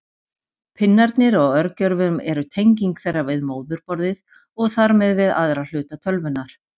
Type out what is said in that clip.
Pinnarnir á örgjörvum eru tenging þeirra við móðurborðið og þar með við aðra hluta tölvunnar.